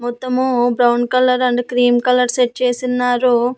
మొత్తము brown colour and cream colour set చేసున్నారు.